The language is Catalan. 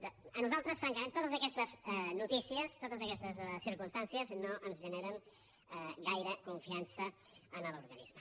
bé a nosaltres francament totes aquestes notícies totes aquestes circumstàncies no ens generen gaire confiança en l’organisme